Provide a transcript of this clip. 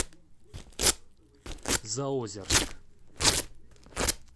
заозерск